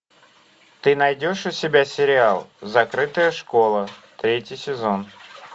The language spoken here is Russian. ты найдешь у себя сериал закрытая школа третий сезон